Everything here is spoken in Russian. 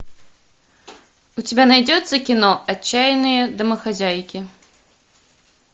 у тебя найдется кино отчаянные домохозяйки